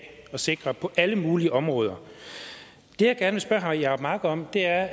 at sikre på alle mulige områder det jeg gerne spørge herre jacob mark om er